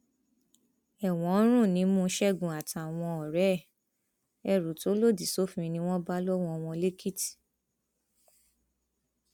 ẹwọn ń rùn nímú ṣẹgun àtàwọn ọrẹ ẹ ẹrú tó lòdì sófin ni wọn bá lọwọ wọn lẹkìtì